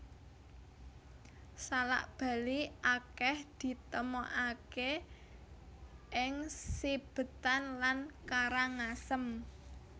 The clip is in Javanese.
Salak Bali akèh ditemokaké ing Sibetan lan Karangasem